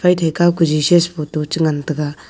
paithai kao ka Jesus photo changan taga.